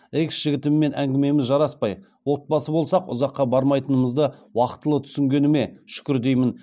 экс жігітіммен әңгімеміз жараспаи отбасы болсақ ұзаққа бармаи тынымызды уақытылы түсінгеніме шүкір деи мін